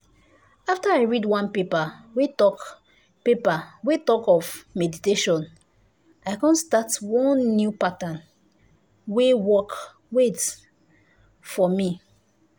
after i read one paper wey talk paper wey talk of meditation i come start one new pattern wey work wait!!! for me.